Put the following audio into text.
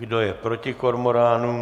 Kdo je proti kormoránům?